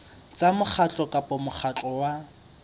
tsa mokgatlo kapa mokgatlo wa